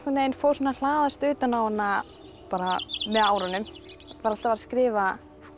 veginn fóru að hlaðast utan á hana með árunum var alltaf að skrifa